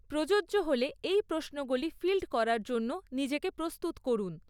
প্রযোজ্য হলে এই প্রশ্নগুলি ফিল্ড করার জন্য নিজেকে প্রস্তুত করুন।